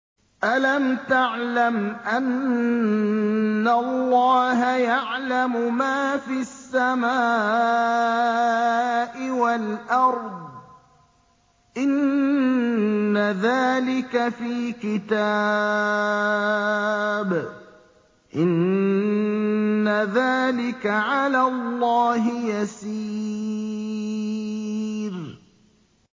أَلَمْ تَعْلَمْ أَنَّ اللَّهَ يَعْلَمُ مَا فِي السَّمَاءِ وَالْأَرْضِ ۗ إِنَّ ذَٰلِكَ فِي كِتَابٍ ۚ إِنَّ ذَٰلِكَ عَلَى اللَّهِ يَسِيرٌ